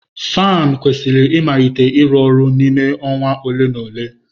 Fanụ kwesịrị ịmalite ịrụ ọrụ n'ime awa ole na ole.